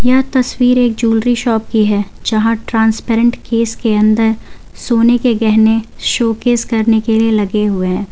यह तस्वीर एक जूलरी शॉप की है जहां ट्रांसपेरेंट केस के अंदर सोने के गहने शोकेस करने के लिये लगे हैं।